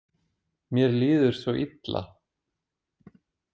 Mér líður svo illa